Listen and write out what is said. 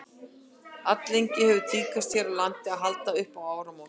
alllengi hefur tíðkast hér á landi að halda upp á áramót